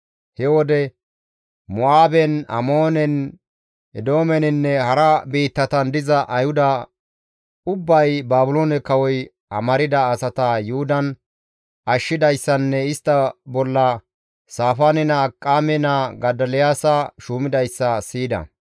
He wode Mo7aaben, Amoonen, Eedoomeninne hara biittatan diza Ayhuda ubbay Baabiloone kawoy amarda asata Yuhudan ashshidayssanne istta bolla Saafaane naa Akiqaame naa Godoliyaasa shuumidayssa siyida.